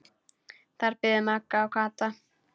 Þar biðu Magga og Kata.